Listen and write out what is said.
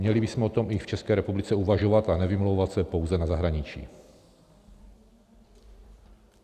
Měli bychom o tom i v České republice uvažovat a nevymlouvat se pouze na zahraničí.